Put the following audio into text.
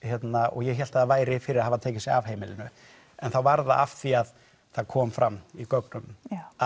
og ég hélt að það væri fyrir að hafa tekið sig af heimilinu en þá var það af því það kom fram í gögnum að